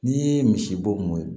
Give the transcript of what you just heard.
N'i ye misibo mun ye